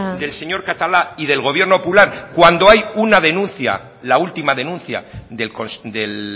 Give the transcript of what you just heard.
del señor catalá y del gobierno popular cuando hay una denuncia la última denuncia del